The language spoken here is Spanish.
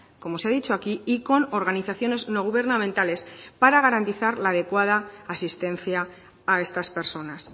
como se ha dicho aquí y con organizaciones no gubernamentales para garantizar la adecuada asistencia a estas personas